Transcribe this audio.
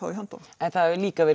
í höndunum en það hefur líka verið